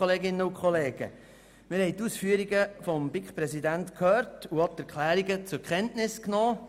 Wir haben die Ausführungen des BiK-Präsidenten gehört und die Erklärungen zur Kenntnis genommen.